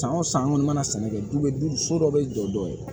San o san an kɔni mana sɛnɛ kɛ du be so dɔ be jɔ dɔ ye